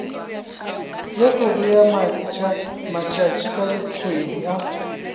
le go bea matšatšikgwedi a